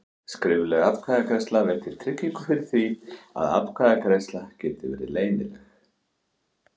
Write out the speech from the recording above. Skrifleg atkvæðagreiðsla veitir tryggingu fyrir því að atkvæðagreiðslan geti verið leynileg.